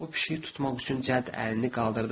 O pişiyi tutmaq üçün cəd əlini qaldırdı.